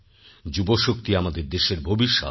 যুবশক্তি আমাদের দেশের ভবিষ্যৎ